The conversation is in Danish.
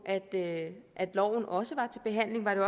loven også var til behandling var det